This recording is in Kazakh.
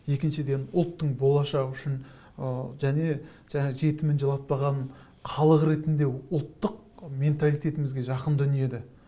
екіншіден ұлттың болашағы үшін ы және және жетімін жылатпаған халық ретінде ұлттық менталитетімізге жақын дүние де